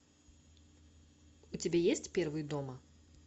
у тебя есть первый дома